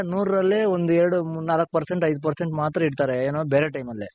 ನೂರ್ ರಲ್ಲಿ ಒಂದ್ ಎರಡ್ ನಾಲ್ಕ್ percent ಐದ್ percent ಮಾತ್ರ ಇಡ್ತಾರೆ ಏನು ಬೇರೆ time ಅಲ್ಲಿ.